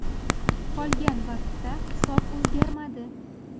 Qolgan vaqtda hisob o‘zgarmadi.